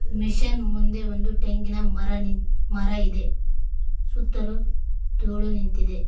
Machine ಮುಂದೆ ಒಂದು ತೆಂಗಿನ ಮರ ನಿಂತ್ ಮರ ಇದೆ ಸುತ್ತಲು ಧೂಳು ನಿಂತಿದೆ.